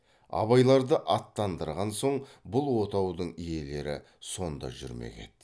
абайларды аттандырған соң бұл отаудың иелері сонда жүрмек еді